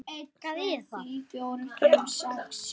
Dæmdur í áfengismeðferð